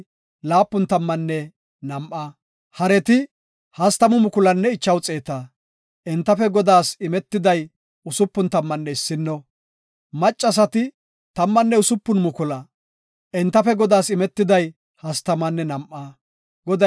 Ola boonna Isra7eele maabara gakida gishoy ola bida asaa gishuwara issi gina; ika 337,500 dorsata, 36,000 miizata, 30,500 haretanne 16,000 geela7o macca nayta.